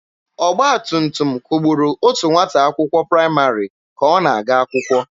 Ọgba tum tum kwugburu otu nwata akwụkwọ praịmarị ka ọ na-aga akwụkwọ.